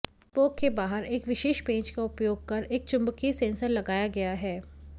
spoke के बाहर एक विशेष पेंच का उपयोग कर एक चुंबकीय सेंसर लगाया गया है